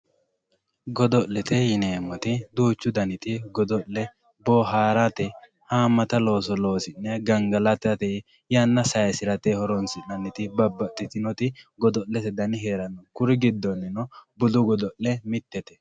Godolete yineemoti duuchu daniti godole booharate haamata looso loosine gangalatate yana sayisirate horonsinanitti babaxitinoti godolete dani heerano kuri gidonino budu god'le mitette